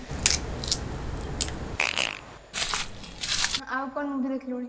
ଆଉ କଣ movie ଦେଖିଲୁଣି